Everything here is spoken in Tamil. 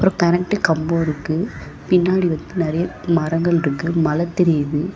கரண்ட் கம்போ இருக்கு பின்னாடி வந்து நெறைய மரங்கள்ருக்கு மல தெரியிது.